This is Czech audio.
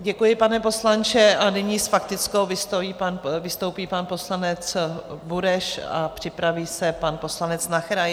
Děkuji, pane poslanče, a nyní s faktickou vystoupí pan poslanec Bureš a připraví se pan poslanec Nacher.